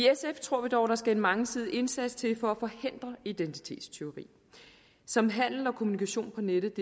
tror vi dog at der skal en mangesidet indsats til for at forhindre identitetstyveri som handel og kommunikation på nettet